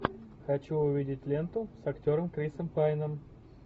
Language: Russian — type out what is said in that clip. хочу увидеть ленту с актером крисом пайном